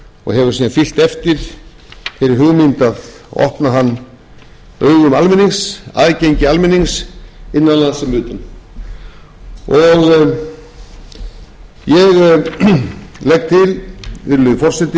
og hefur síðan fylgt eftir þeirri hugmynd að opna hann augum almennings aðgengi almennings innan lands sem utan ég legg til virðulegur forseti af